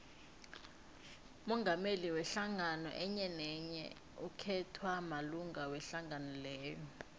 umongameli wehlangano enyenenye ukhethwa malunga wehlangano leyo